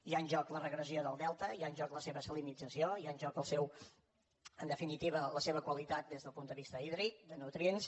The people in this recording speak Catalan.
hi ha en joc la regressió del delta hi ha en joc la seva salinització hi ha en joc en definitiva la seva qualitat des del punt de vista hídric de nutrients